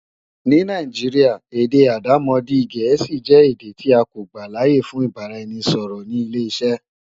Ní Nàìjíríà, èdè àdàmọ̀dì Gẹ̀ẹ́sì jẹ́ èdè tí a kò gbàláyè fún ìbáraẹnisọ̀rọ̀ ní ileṣẹ́.